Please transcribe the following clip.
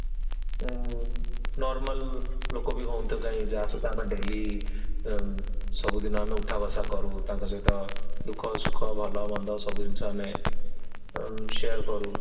ଉମଂ normal ଲୋକବି ହୁଅନ୍ତୁ ଯାହାକୁ ଆମେ daily ଅମ୍ ସବୁ ଦିନ ଆମେ ଉଠା ବସା କରୁ ତାଙ୍କ ସହିତ ଦୁଃଖ ସୁଖ ଭଲ ମନ୍ଦ ସବୁ ଜିନିଷ ଆମେ ଅମ୍ share କରୁ